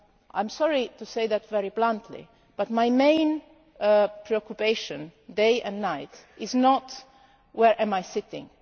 I am sorry to say that very bluntly, but my main preoccupation day and night is not where I am sitting.